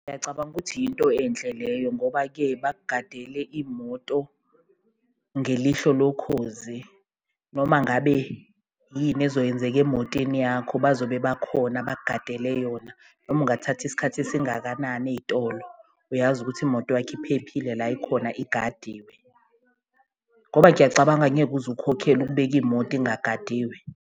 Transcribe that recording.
Ngiyacabanga ukuthi yinto enhle leyo ngoba-ke bakugadele imoto ngelihlo lokhozi, noma ngabe yini ezokwenzeka emotweni yakho bazobe bakhona bakugadele yona. Noma ungathatha isikhathi esingakanani eyitolo uyazi ukuthi imoto yakho iphephile la ikhona igadiwe, ngoba ngiyacabanga angeke uze ukhokhele ukubeka imoto ingagadiwe.